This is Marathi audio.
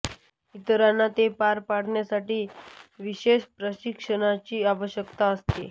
इतरांना ते पार पाडण्यासाठी विशेष प्रशिक्षणाची आवश्यकता असते